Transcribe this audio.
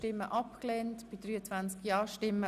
Sie haben Ziffer 3 abgelehnt.